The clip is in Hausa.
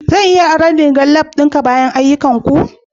Zan iya aron rigar lab ɗinka bayan ayyukanku?